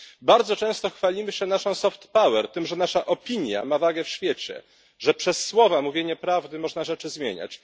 Bardzo często chwalimy się naszą soft power, tym że nasza opinia ma wagę w świecie, że przez słowa, mówienie prawdy można rzeczy zmieniać.